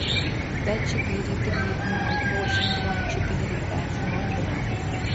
пять четыре три ноль восемь два четыре пять ноль два